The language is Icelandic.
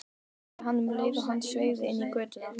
sagði hann um leið og hann sveigði inn í götuna.